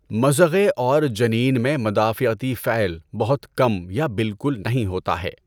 مضغے اور جنین میں مدافعتی فعل بہت کم یا بالکل نہیں ہوتا ہے۔